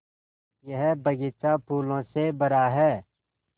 यह बग़ीचा फूलों से भरा है